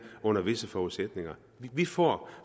under visse forudsætninger vi får